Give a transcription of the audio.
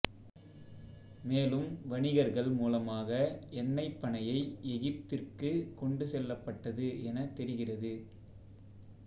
மேலும் வணிகர்கள் மூலமாக எண்ணெய்ப் பனையை எகிப்திற்கு கொண்டு செல்லப்பட்டது எனத் தெரிகிறது